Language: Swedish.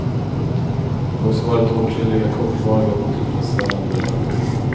Det har också varit åtskilliga kortvariga och otillfredsställande relationer.